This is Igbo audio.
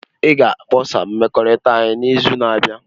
Ị ga-akpọsa mmekọrịta anyị n'izu na-abịa.